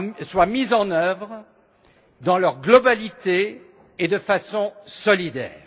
soient mises en œuvre dans leur globalité et de façon solidaire.